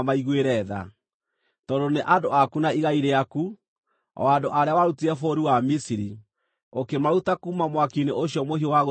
tondũ nĩ andũ aku na igai rĩaku, o andũ arĩa warutire bũrũri wa Misiri, ũkĩmaruta kuuma mwaki-inĩ ũcio mũhiũ wa gũtwekia kĩgera.